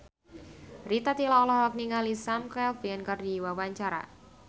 Rita Tila olohok ningali Sam Claflin keur diwawancara